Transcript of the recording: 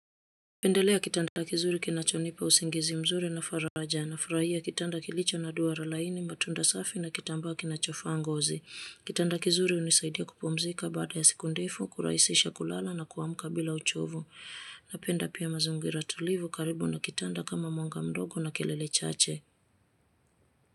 Pendelea kitanda kizuri kinacho nipa usingizi mzuri na faraja nafurahia kitanda kilicho na duara laini, matunda safi na kitambaa kinacho faa ngozi. Kitanda kizuri hunisaidia kupumzika baada ya siku ndefu, kurahisisha kulala na kuamka bila uchovu. Napenda pia mazingira tulivu karibu na kitanda kama mwanga mdogo na kelele chache.